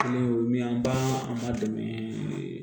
Kelen y'o min an b'a an b'a dɛmɛ